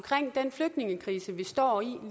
den flygtningekrise vi står i